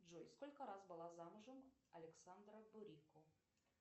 джой сколько раз была замужем александра бурико